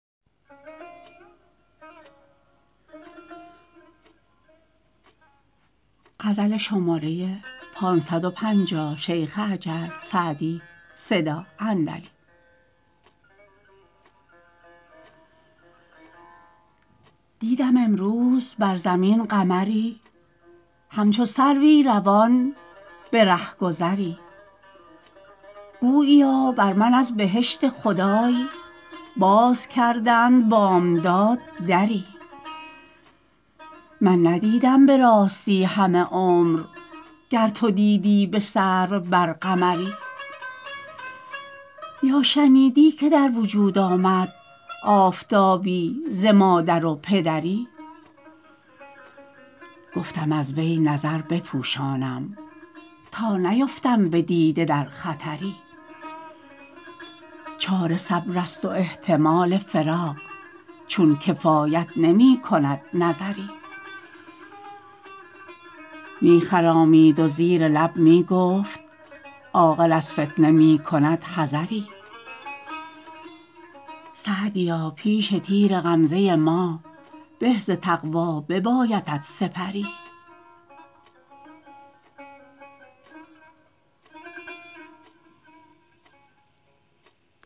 دیدم امروز بر زمین قمری همچو سروی روان به رهگذری گوییا بر من از بهشت خدای باز کردند بامداد دری من ندیدم به راستی همه عمر گر تو دیدی به سرو بر قمری یا شنیدی که در وجود آمد آفتابی ز مادر و پدری گفتم از وی نظر بپوشانم تا نیفتم به دیده در خطری چاره صبر است و احتمال فراق چون کفایت نمی کند نظری می خرامید و زیر لب می گفت عاقل از فتنه می کند حذری سعدیا پیش تیر غمزه ما به ز تقوا ببایدت سپری